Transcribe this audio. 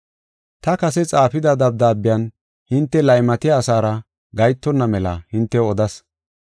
Ta kase xaafida dabdaabiyan hinte laymatiya asara gahetonna mela hintew odas.